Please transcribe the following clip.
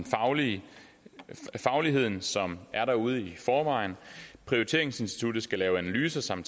fagligheden som er derude i forvejen prioriteringsinstituttet skal lave analyser som